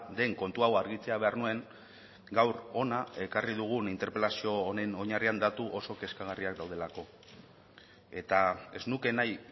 den kontu hau argitzea behar nuen gaur hona ekarri dugun interpelazio honen oinarrian datu oso kezkagarriak daudelako eta ez nuke nahi